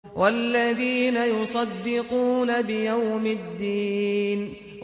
وَالَّذِينَ يُصَدِّقُونَ بِيَوْمِ الدِّينِ